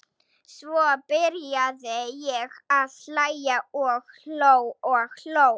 Svo byrjaði ég að hlæja og hló og hló.